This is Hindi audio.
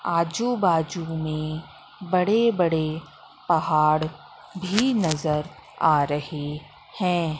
आजू बाजू में बड़े-बड़े पहाड़ भी नज़र आ रहे हैं।